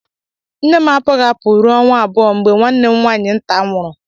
Nne m apụghị apụ ruo ọnwa abụọ mgbe nwanne m nwaanyị nta nwụrụ.